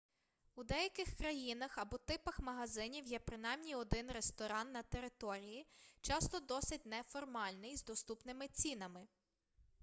у деяких країнах або типах магазинів є принаймні один ресторан на території часто досить неформальний з доступними цінами